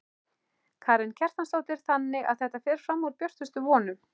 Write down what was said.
Karen Kjartansdóttir: Þannig að þetta fer fram úr björtustu vonum?